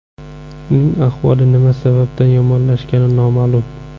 Uning ahvoli nima sababdan yomonlashgani noma’lum.